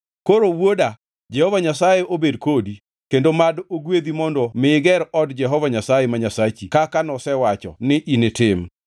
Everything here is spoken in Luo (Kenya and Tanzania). “Koro wuoda, Jehova Nyasaye obed kodi, kendo mad ogwedhi mondo mi iger od Jehova Nyasaye, ma Nyasachi kaka nosewacho ni initim.